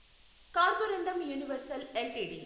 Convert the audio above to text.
carborundum Universal LTD